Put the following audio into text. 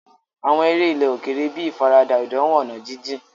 Àwọn eré ilẹ̀ òkèèrè bíi ìfaradà ìdánwò ọ̀nà jíjìn.